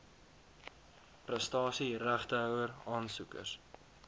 prestasie regtehouer aansoekers